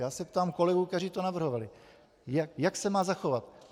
Já se ptám kolegů, kteří to navrhovali, jak se má zachovat.